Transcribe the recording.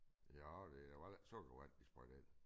Ja det jo heller ikke sukkervand de sprøjter ind